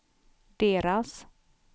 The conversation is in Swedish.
deras